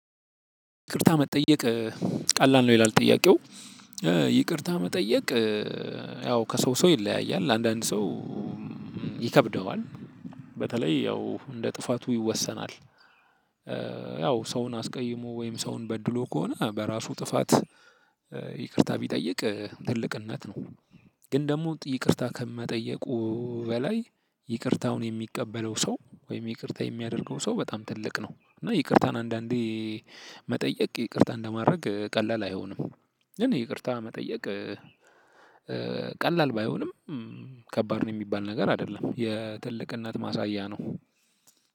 ይቅርታ መጠየቅ ቀላል ነው ይላል። ጥያቄው ይቅርታ መጠየቅ ያው ከሰው ሰው ይለያያል አንዳንድ ሰው ይከብደዋል በተለይ ያው እንደ ጥፋቱ ይወሰናል። ያው ሰውን አስቀይሞ ወይም ሰውን በድሎ ከሆነ በራሱ ጥፋት ይ ይቅርታ ቢጠይቅ ትልቅነት ነው። ግን ደግሞ ይቅርታ ከመጠየቁ በላይ ይቅርታውን የሚቀበለው ሰው ወይም ይቅርታ የሚያደርገው ሰው በጣም ትልቅ ነው። እና ይቅርታን አንዳንዴ መጠየቅ ይቅርታ እንደማድረግ ቀላል አይሆንም። ግን ይቅርታ መጠየቅ ቀላል ባይሆንም ከባድ ነው የሚባል ነገር አይደለም የትልቅነት ማሳያ ነው።